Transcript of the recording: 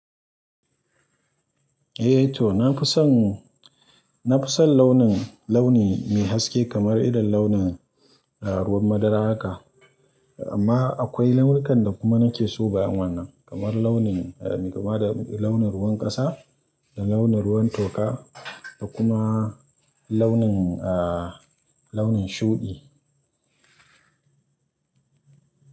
Eh to, na fi son, na fi son launin, launi mai haske kamar idon launin, ah, ruwan madara haka. Amma akwai launukan da kuma nake so bayan wannan, kamar launin, ah, mai kama da launin ruwan ƙasa da launin ruwan toka da kuma launin, ah, launin shuɗi.